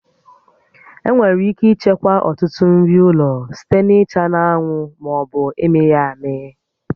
Enwere ike ichekwa ọtụtụ nri ụlọ site na ịcha na-anwụ ma ọ bụ ịmị ya amị